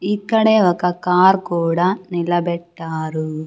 ఇక్కడే ఒక కార్ కూడా నిలబెట్టారు.